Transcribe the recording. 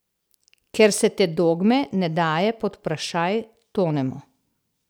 Ker se te dogme ne daje pod vprašaj, tonemo.